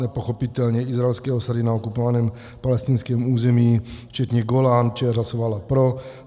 Pochopitelně izraelské osady na okupovaném palestinském území včetně Golan - ČR hlasovala pro.